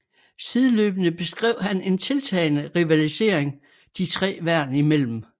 Sideløbende beskrev han en tiltagende rivalisering de tre værn imellem